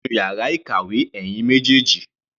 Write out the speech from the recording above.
Ẹ wá sínú yàrá ìkàwé, ẹ̀yin méjèèjì.